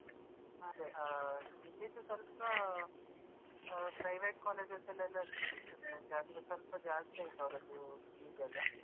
ಅದೆ ಆ ಇಲ್ಲಿದ್ದು ಸ್ವಲ್ಪಾ private colleges ಅಲ್ಲೆಲ್ಲ ಸಿಕ್ಕಿತ್ತು seat ಆದ್ರೆ ಸ್ವಲ್ಪ ಜಾಸ್ತಿ ಆಯ್ತು ಅವರದ್ದು fees ಎಲ್ಲ.